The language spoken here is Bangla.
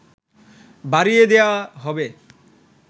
বাড়িয়ে দেয়া হবে